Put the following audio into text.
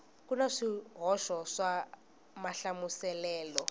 ku na swihoxo swa mahlamuselelo